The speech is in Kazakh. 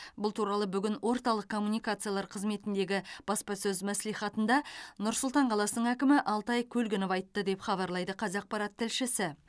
бұл туралы бүгін орталық коммуникациялар қызметіндегі баспасөз мәслихатында нұр сұлтан қаласының әкімі алтай көлгінов айтты деп хабарлайды қазақпарат тілшісі